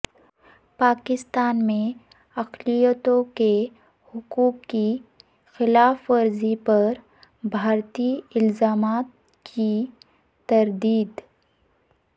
پاکستان میں اقلیتوں کے حقوق کی خلاف ورزی پر بھارتی الزامات کی تردید